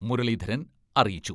മുരളീധരൻ അറിയിച്ചു.